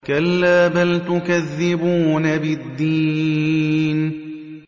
كَلَّا بَلْ تُكَذِّبُونَ بِالدِّينِ